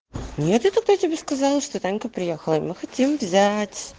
нет я тогда тебе сказала что танька приехала и мы хотим взять